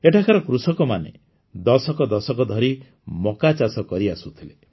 ଏଠାକାର କୃଷକମାନେ ଦଶକ ଦଶକ ଧରି ମକ୍କା ଚାଷ କରିଆସୁଥିଲେ